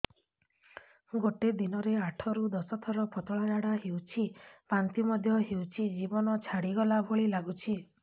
ଗୋଟେ ଦିନରେ ଆଠ ରୁ ଦଶ ଥର ପତଳା ଝାଡା ହେଉଛି ବାନ୍ତି ମଧ୍ୟ ହେଉଛି ଜୀବନ ଛାଡିଗଲା ଭଳି ଲଗୁଛି